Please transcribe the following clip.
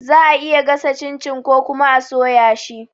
Za'a iya gasa cin-cin ko kuma a soya shi